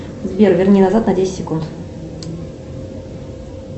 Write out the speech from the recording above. сбер верни назад на десять секунд